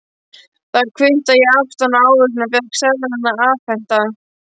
Þar kvittaði ég aftan á ávísunina og fékk seðlana afhenta.